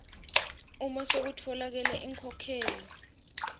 uma sekutfolakele inkhokhelo